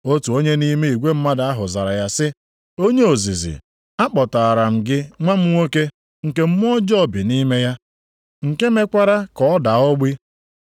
Otu onye nʼime igwe mmadụ ahụ zara ya sị, “Onye ozizi akpọtaara m gị nwa m nwoke, nke mmụọ ọjọọ bi nʼime ya, nke mekwara ka ọ daa ogbi.